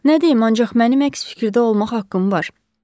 Nə deyim, ancaq mənə əks fikirdə olmaq haqqım var.